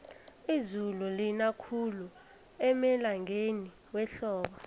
izulu lina khulu emalangeni wehlobo